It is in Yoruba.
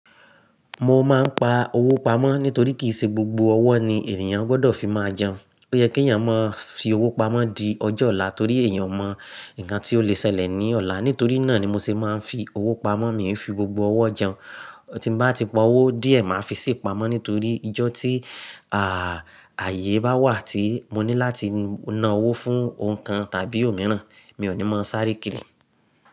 Mo máa ń pa owó pamọ́ nítorí kì í ṣe gbogbo ọwọ́ ni ènìyàn gbọ́dọ̀ fi máa jẹun. Ó yẹ kí ènìyàn máa fi owó pamọ́ di ọjọ́ ọ̀la torí èèyàn mọ nǹkan tí ó lè ṣẹlẹ̀ ní ọ̀la. Nítorí náà ni mo ṣe máa ń fi owó pamọ́. Mi n fi gbogbo ọwọ́ jẹun. Tí bá ti po owó díẹ̀, màá fi síí pamọ́ nítorí ìjọ́ tí, à, ààyè bá wà tí mo ní láti na owó fún ohun kan tàbí òmíràn, mi ò ní máa sáré kiri.